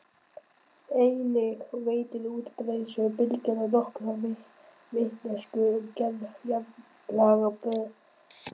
Einnig veitir útbreiðsluhraði bylgnanna nokkra vitneskju um gerð jarðlaga berggrunnsins.